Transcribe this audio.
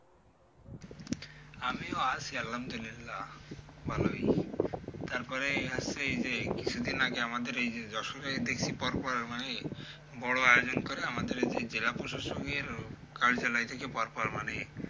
আমিও আছি আলহামদুলিল্লাহ ভালোই। তারপরে হচ্ছে এই যে কিছুদিন আগে আমাদের এই যে যশোরে দেখছি পরপর মানে বড়ো আয়োজন করে আমাদের এই যে জেলা প্রশাসকের কার্যালয় থেকে পরপর মানে,